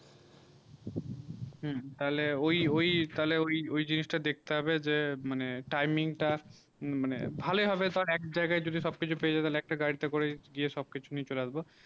হম তালে ঐই ঐই তালে ঐই জিনিস তা দেখতে হবে যে মানে timing তা মানে ভালো ই হবে সব এক জায়গা যদি সব কিছু পেয়ে যাবে তালে একটা গাড়ি তে করে গিয়ে সব কিছু নিয়ে আসবো